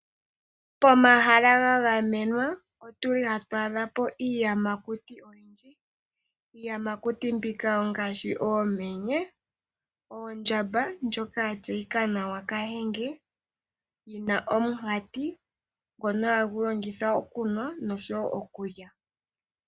Pomahala gagamenwa otuli hatwaa dhapo iiyamakuti oyindji. Iiyamakuti mbika ongaashi oomenye, oondjamba ndjoka yatseyika nawa kahenge yina omunkati ngoka hayi longitha okunwa noshowo okulya.